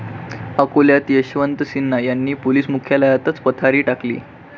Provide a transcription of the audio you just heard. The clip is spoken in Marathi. अकोल्यात यशवंत सिन्हा यांनी पोलीस मुख्यालयातच पथारी टाकली!